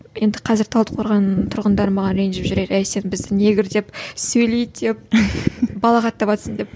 енді қазір талдықорған тұрғындары маған ренжіп жүрер әй сен бізді негр деп сөйлейді деп балағаттаватсың деп